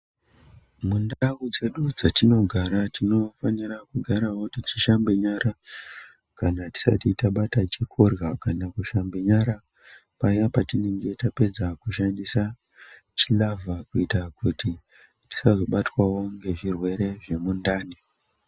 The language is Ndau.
Mundau dzedu dzetinogara tinofanira kugarawo tichishambe nyara kana tisati tabate chekurya kana kushambe nyara kana paya patinenge tabve kubata chilavha kuita kuti tisazobatwewo ngezvirwere zvemundani.